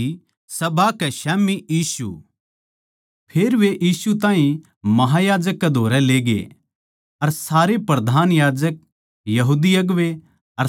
फेर वे यीशु ताहीं महायाजक कै धोरै लेगे अर सारे प्रधान याजक यहूदी अगुवें अर शास्त्री उसकै ओड़ै कट्ठे होगे